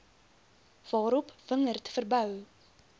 waarop wingerd verbou